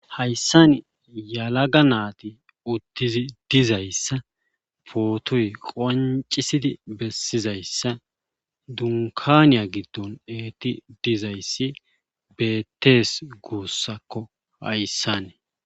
Haysan yelaga nayti utidi dizaysa potoy qoncisid besizaysa dunkaniya gido yid dizaysi betes guusako haysan